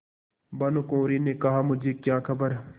भानुकुँवरि ने कहामुझे क्या खबर